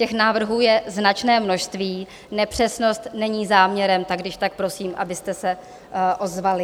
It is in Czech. Těch návrhů je značné množství, nepřesnost není záměrem, tak když tak prosím, abyste se ozvali.